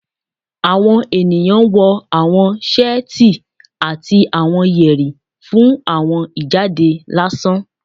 Awọn eniyan wọ awọn seeti ati awọn yeri fun awọn ijade lasan